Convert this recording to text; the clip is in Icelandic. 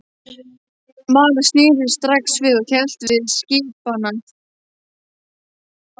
Mara sneri strax við og hélt til skipanna.